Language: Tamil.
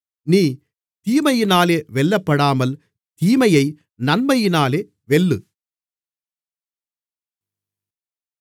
நீ தீமையினாலே வெல்லப்படாமல் தீமையை நன்மையினாலே வெல்லு